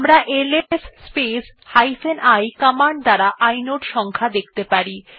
আমরা ls space i command দ্বারা inode সংখ্যা দেখতে পারি